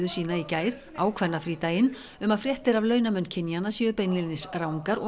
sína í gær á kvennafrídaginn um að fréttir af launamun kynjanna séu beinlínis rangar og